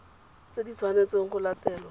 tse di tshwanetseng go latelwa